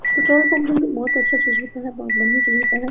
Petrol pump में भी बहुत अच्छा चीज़ होता है बहुत बढियाँ चीज़ होता है।